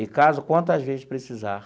E caso quantas vezes precisar.